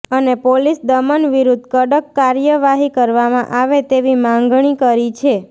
અને પોલીસ દમન વિરૂદ્ધ કડક કાર્યવાહી કરવામાં આવે તેવી માંગણી કરી છે